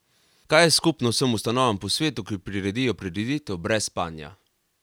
Kaj je skupno vsem ustanovam po svetu, ki priredijo prireditev brez spanja?